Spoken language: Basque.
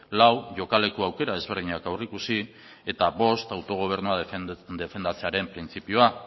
lau jokaleku aukera ezberdinak aurreikusi eta bost autogobernua defendatzearen printzipioa